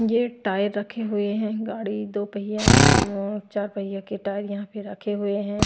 ये टायर रखे हुए हैं गाड़ी दो पहिया चार पहिया के टायर यहां पे रखे हुए हैं।